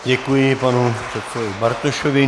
Děkuji panu předsedovi Bartošovi.